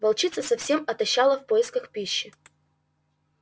волчица совсем отощала в поисках пищи